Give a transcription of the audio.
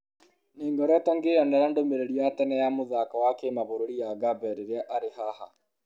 Nĩ-ngoretwo ngĩyonera ndũmĩrĩri ya tene ya mũthako wa kĩmabũrũri ya Gabe rĩrĩa arĩ-haha."